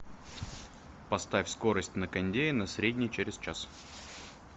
поставь скорость на кондее на средний через час